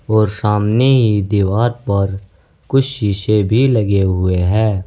और सामने की दीवार पर कुछ शीशे भी लगे हुए हैं।